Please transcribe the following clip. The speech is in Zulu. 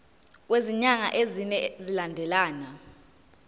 kwezinyanga ezine zilandelana